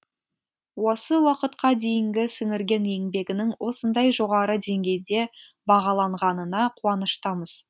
осы уақытқа дейінгі сіңірген еңбегінің осындай жоғары деңгейде бағаланғанына қуаныштымыз